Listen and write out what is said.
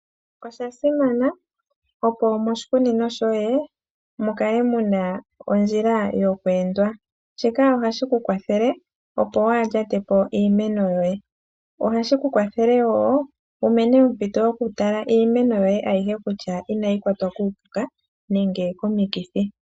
Osha simana opo mo shikunino shoye mukale muna ondjila yoku endwa. Shika ohashi ku kwathele opo wa ha lya te po iimeno yoye. Ohashi ku kwathele woo wu mone ompito yo ku tala iimeno yoye ayihe kutya inayi kwatwa kuu puka nenge ko mikithi.